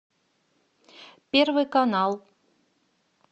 первый канал